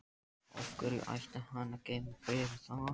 Af hverju ætti hann að geyma bréfið þar?